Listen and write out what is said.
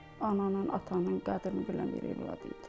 Ananın, atanın qədrini bilən bir övlad idi.